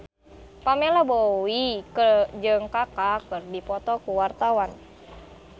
Pamela Bowie jeung Kaka keur dipoto ku wartawan